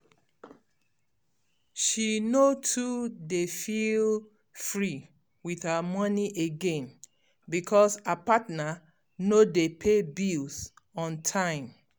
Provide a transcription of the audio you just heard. um she no too dey feel um free with her money again[um] because her partner no dey pay bills on time.